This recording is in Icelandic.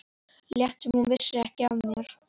Lét sem hún vissi ekki af mér.